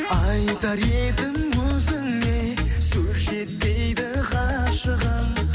айтар едім өзіңе сөз жетпейді ғашығым